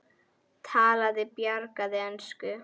Talaði bjagaða ensku: